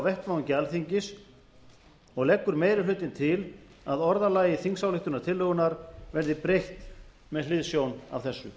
vettvangi alþingis og leggur meiri hlutinn til að orðalagi þingsályktunartillögunnar verði breytt með hliðsjón af þessu